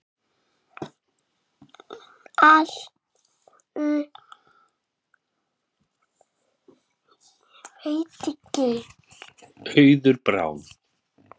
Auður Brá.